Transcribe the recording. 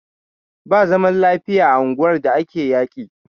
Ba zaman lafiya a unguwar da ake yaƙi.